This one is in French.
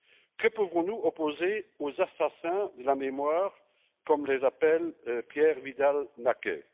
Que pouvons nous opposer aux assassins de la mémoire, comme les appelle Pierre Vidal Naquet?